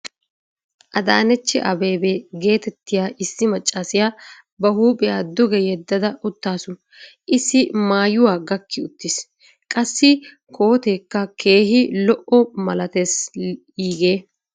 Adaanechi abebe geetettiya issi macaasiya ba huuphiya duge yeddada utaasu. issi maayuwa gakki uttiis. qassi kooteekka keehi zo'o malatees iigee.